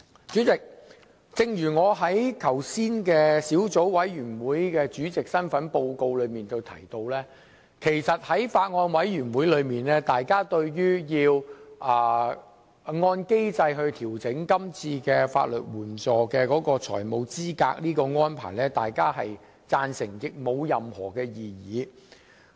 主席，正如我剛才以小組委員會主席身份作出報告時提到，在小組委員會內，大家均贊成是次按機制調整法律援助的財務資格限額的安排，並無任何異議。